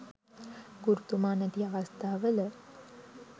ගුරුතුමා නැති අවස්ථා වල